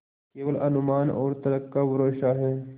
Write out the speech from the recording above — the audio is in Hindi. केवल अनुमान और तर्क का भरोसा है